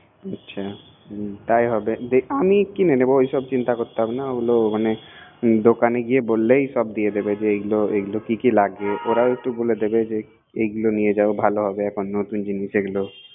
আচ্ছা তাই হবেকিনে নিবোওইসব চিন্তা করতে হবে নাদোকানে গিয়ে বললেই সব দিয়ে দিবে এগুলা এগুলা কি কি লাগবেওরাও একটু বলে দিবে এগুলা নিয়ে যাও ভালো হবেনতুন জিনিস এগুলো